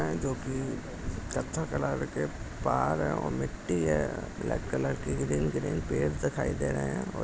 यह जोकि कतथें कलर के पहाड़ है और मिट्ठी है ब्लॅक कलर के ग्रीन ग्रीन पेड़ दिखाई दे रहे है और--